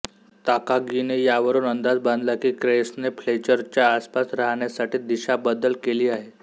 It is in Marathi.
ताकागीने यावरुन अंदाज बांधला की क्रेसने फ्लेचरच्या आसपास राहण्यासाठी दिशाबदल केली आहे